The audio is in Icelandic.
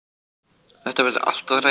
Þetta verði allt að ræða.